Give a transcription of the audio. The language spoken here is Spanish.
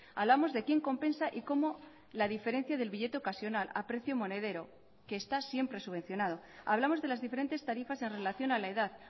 hablamos de quién compensa y cómo la diferencia del billete ocasional a precio monedero que está siempre subvencionado hablamos de las diferentes tarifas en relación a la edad